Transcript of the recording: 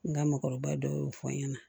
N ka mɔgɔkɔrɔba dɔw y'o fɔ n ɲɛna